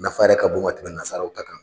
nafa yɛrɛ ka bon ka tɛmɛ nazaraw ta kan.